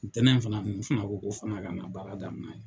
Ntɛnɛn in fana ninnu fana ko ko fana ka na baara daminan yen.